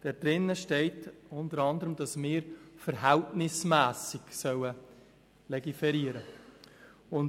Darin steht unter anderem, dass wir verhältnismässig legiferieren sollen.